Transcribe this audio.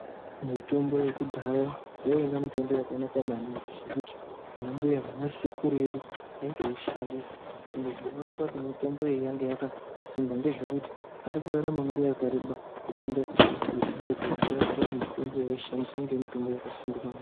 Mitombo yekudhaya yainga mitombo yakanaka maningi zvekuti anambuya nanasekuru edu aitoushandisa ende zvinooneka kuti mitombo iyi yaive yakasimba ngezvekuti ari kurarama nguwa yakareba kupinda isusu echidoko zvinoratidza kuti mitombo yaaishandisa yainga mitombo yakasimba maningi.